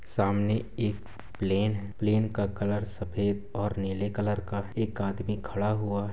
सामने एक प्लेन है प्लेन का कलर सफेद और नीले कलर का एक आदमी खड़ा हुआ--